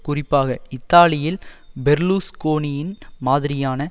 குறிப்பாக இத்தாலியில் பெர்லுஸ்கோனியின் மாதிரியான